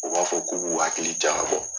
U b'a fɔ k'u b'u hakili jagabɔ.